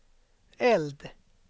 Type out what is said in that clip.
eld